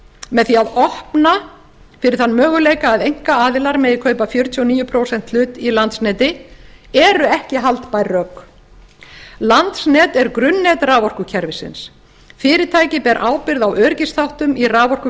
með því að opna fyrir þann möguleika að einkaaðilar megi kaupa fjörutíu og níu prósenta hlut í landsneti eru ekki haldbær rök landsnet er grunnnet raforkukerfisins fyrirtækið ber ábyrgð á öryggisþáttum